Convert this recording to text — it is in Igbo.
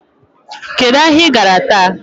Kedụ ahịa I gara taa?